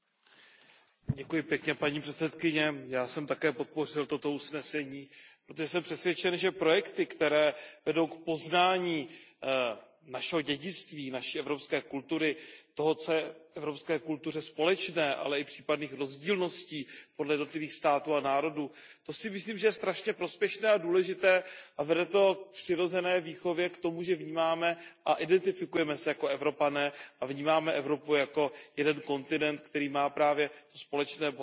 Paní předsedající, já jsem také podpořil toto usnesení, protože jsem přesvědčen, že projekty, které vedou k poznání našeho dědictví, naší evropské kultury, toho, co je evropské kultuře společné, ale i případných rozdílností podle jednotlivých států a národů, to si myslím, že je velmi prospěšné a důležité a vede to k přirozené výchově a k tomu, že vnímáme a identifikujeme se jako Evropané a vnímáme Evropu jako jeden kontinent, který má právě společné bohatství, společnou kulturu.